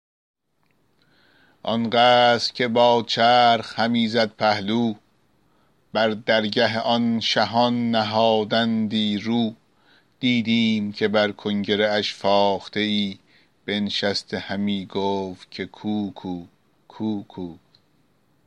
آن قصر که با چرخ همی زد پهلو بر درگه آن شهان نهادندی رو دیدیم که بر کنگره اش فاخته ای بنشسته همی گفت که کوکو کوکو